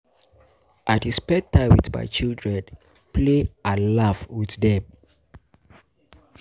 I dey spend time wit my children, play and laugh wit dem.